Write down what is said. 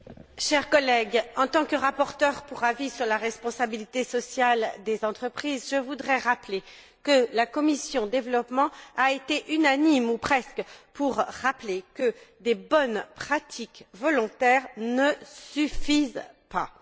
Monsieur le Président, chers collègues, en tant que rapporteure pour avis sur la responsabilité sociale des entreprises, je voudrais souligner que la commission du développement a été unanime ou presque pour rappeler que des bonnes pratiques volontaires ne suffisent pas.